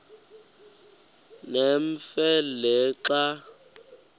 nemfe le xa